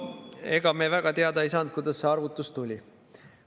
Ega me väga hästi teada ei saanud, kuidas see arvutus tuli.